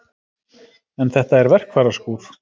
En þetta er verkfæraskúr.